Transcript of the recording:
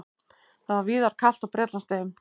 Það var víðar kalt á Bretlandseyjum